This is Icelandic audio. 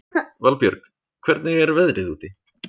Valbjörg, hvernig er veðrið úti?